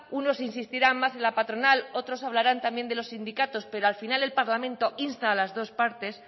unos insistirán más en la patronal otros hablarán también de los sindicatos pero al final el parlamento insta a las dos partes